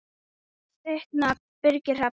Þinn nafni, Birgir Hrafn.